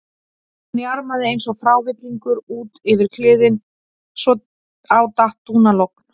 Hann jarmaði eins og frávillingur út yfir kliðinn svo á datt dúnalogn.